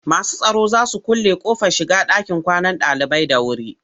Masu tsaron za su kulle ƙofar shiga ɗakin kwanan ɗalibai da wuri.